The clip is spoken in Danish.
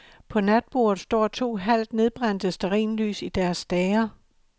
På natbordet står to halvt nedbrændte stearinlys i deres stager.